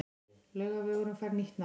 Laugavegurinn fær nýtt nafn